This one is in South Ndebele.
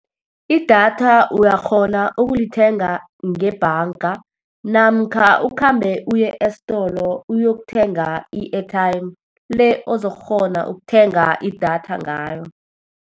Idatha uyakghona ukulithenga ngebhanga, namkha ukhambe uye esitolo uyokuthenga i-airtime, le ozokukghona ukuthenga idatha ngayo.